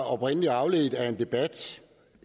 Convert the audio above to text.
oprindelig afledt af en debat